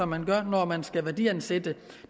man gør når man skal værdiansætte